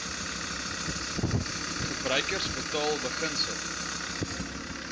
gebruiker betaal beginsel